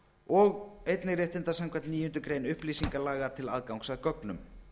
og einnig réttinda samkvæmt níundu grein upplýsingalaga til aðgangs að gögnum